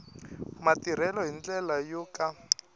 matirhelo hi ndlela yo ka